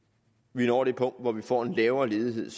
vi når det punkt hvor vi får en lavere ledighed